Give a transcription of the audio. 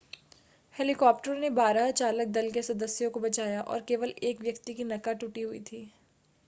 हेलीकॉप्टरों ने बारह चालक दल के सदस्यों को बचाया और केवल एक व्यक्ति की नका टूटी हुई थी